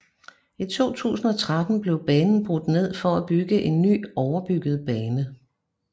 I 2013 blev banen brudt ned for at bygge en ny overbygget bane